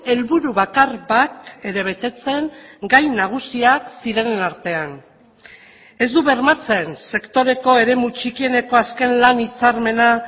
helburu bakar bat ere betetzen gai nagusiak zirenen artean ez du bermatzen sektoreko eremu txikieneko azken lan hitzarmena